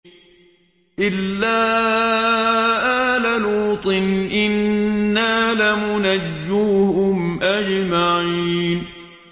إِلَّا آلَ لُوطٍ إِنَّا لَمُنَجُّوهُمْ أَجْمَعِينَ